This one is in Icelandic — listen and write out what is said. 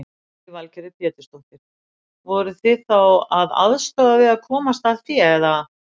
Lillý Valgerður Pétursdóttir: Voruð þið þá að aðstoða við að komast að fé eða?